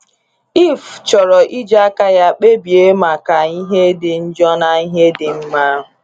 Eve chọrọ iji aka ya kpebie maka ihe dị njọ na ihe dị mma.